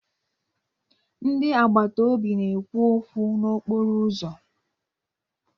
Ndị agbata obi na-ekwu okwu n'okporo ụzọ.